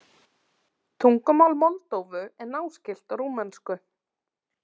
Tungumál Moldóvu er náskylt rúmensku.